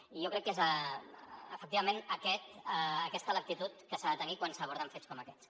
i jo crec que és efectivament aquesta l’actitud que s’ha de tenir quan s’aborden fets com aquests